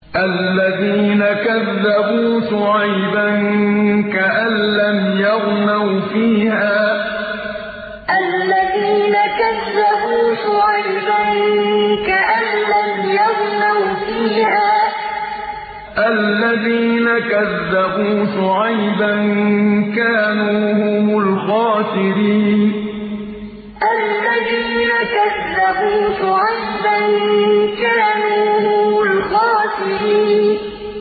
الَّذِينَ كَذَّبُوا شُعَيْبًا كَأَن لَّمْ يَغْنَوْا فِيهَا ۚ الَّذِينَ كَذَّبُوا شُعَيْبًا كَانُوا هُمُ الْخَاسِرِينَ الَّذِينَ كَذَّبُوا شُعَيْبًا كَأَن لَّمْ يَغْنَوْا فِيهَا ۚ الَّذِينَ كَذَّبُوا شُعَيْبًا كَانُوا هُمُ الْخَاسِرِينَ